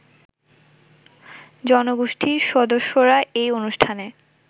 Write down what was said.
জনগোষ্ঠীর সদস্যরা এই অনুষ্ঠানে